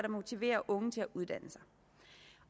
motiverer unge til at uddanne sig